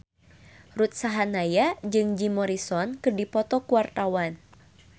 Ruth Sahanaya jeung Jim Morrison keur dipoto ku wartawan